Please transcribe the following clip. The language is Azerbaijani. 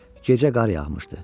Gecə qar yağmışdı.